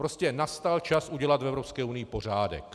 Prostě nastal čas udělat v Evropské unii pořádek.